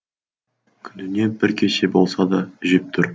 күніне бір кесе болса да жеп тұр